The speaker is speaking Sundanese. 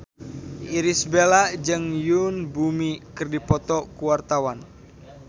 Irish Bella jeung Yoon Bomi keur dipoto ku wartawan